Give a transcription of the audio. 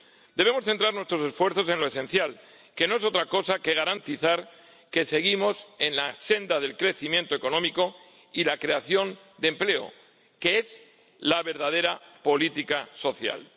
Debemos centrar nuestros esfuerzos en lo esencial, que no es otra cosa que garantizar que seguimos en la senda del crecimiento económico y la creación de empleo, que es la verdadera política social.